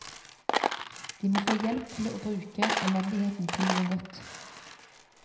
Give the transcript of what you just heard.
De må få hjelp til bruke elendigheten til noe godt.